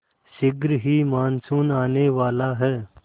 शीघ्र ही मानसून आने वाला है